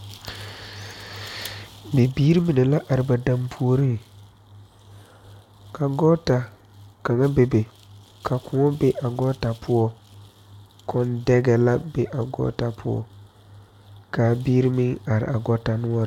Bibiiri mine la are ba danpuori, ka gɔɔta kaŋa be be ka kõɔ be a gɔɔta poɔ, kõɔŋ dɛga la be a gɔɔta poɔ kaa biiri mine are a gɔɔta noɔre.